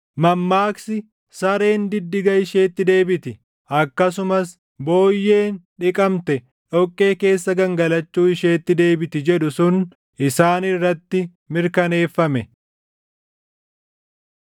Mammaaksi, “Sareen diddiga isheetti deebiti” + 2:22 \+xt Fak 26:11\+xt* akkasumas, “Booyyeen dhiqamte dhoqqee keessa gangalachuu isheetti deebiti” jedhu sun isaan irratti mirkaneeffame.